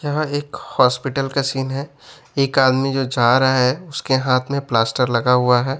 जहां एक हॉस्पिटल का सीन है एक आदमी जो जा रहा है उसके हाथ में प्लास्टर लगा हुआ हैं।